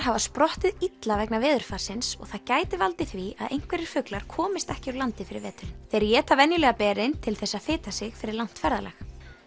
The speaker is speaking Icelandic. hafa sprottið illa vegna veðurfarsins og það gæti valdið því að einhverjir fuglar komist ekki úr landi fyrir veturinn þeir éta venjulega berin til þess að fita sig fyrir langt ferðalag